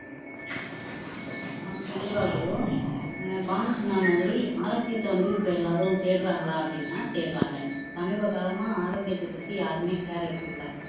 ஆஹ் கண்டிப்பா குரு ஆஹ் பானு சொன்ன மாதிரி ஆரோக்கியத்தை வந்து இப்ப எல்லாரும் தேடுறாங்களா அப்படின்னா தேடுறாங்க சமீப காலமா ஆரோக்கியத்தை பத்தி யாருமே care எடுத்துக்கல